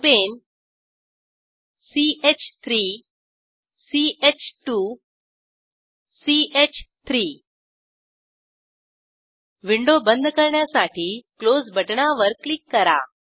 propane ch3 ch2 च3 window बंद करण्यासाठी क्लोज बटणावर क्लिक करा